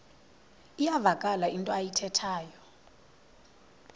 iyavakala into ayithethayo